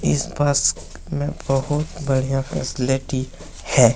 इस बस में बहुत बढ़िया फैसिलिटी है।